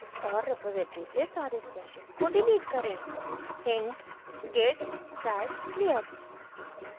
और रेपॉसिटरी से सारे stashes को डिलीट करें